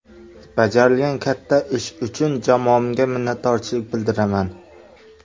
Bajarilgan katta ish uchun jamoamga minnatdorchilik bildiraman.